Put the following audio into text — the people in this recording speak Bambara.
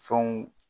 Fɛnw